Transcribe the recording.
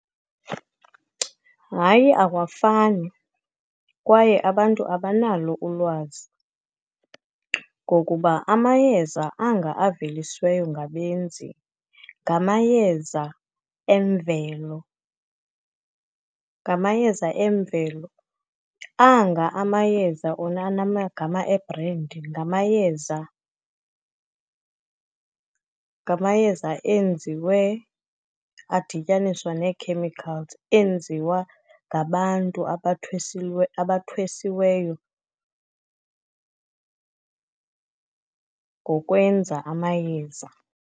Hayi, awafani kwaye abantu abanalo ulwazi. Ngokuba amayeza anga avelisweyo ngabenzi ngamayeza emvelo, ngamayeza emvelo, anga amayeza ona anamagama ebhrendi, ngamayeza enziwe adityaniswa nee-chemicals, enziwa ngabantu abathwesiweyo ngokwenza amayeza.